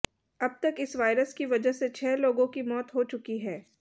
अब तक इस वायरस की वजह से छह लोगों की मौत हो चुकी है